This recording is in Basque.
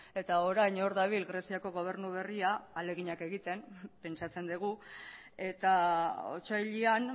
eta orain hor dabil greziako gobernu berria ahaleginak egiten pentsatzen dugu eta otsailean